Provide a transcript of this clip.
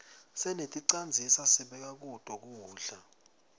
seneticandzisa sibeka kuto kudla